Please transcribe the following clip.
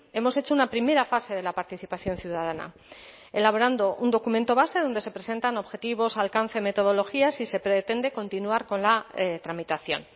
hemos hecho una primera fase de la participación ciudadana elaborando un documento base donde se presentan objetivos alcance metodologías y se pretende continuar con la tramitación